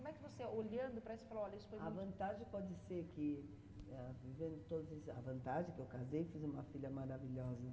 Como é que você, olhando para isso, falou, olha, isso foi muito... A vantagem pode ser que, ah, vivendo todos esses... A vantagem é que eu casei e fiz uma filha maravilhosa.